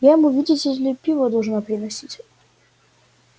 я ему видите ли пиво должна приносить